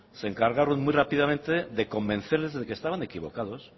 se encargaron muy rápidamente de convencerles de que estaban equivocados